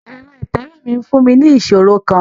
Ẹrọ itẹwe mi n fun mi ni iṣoro kan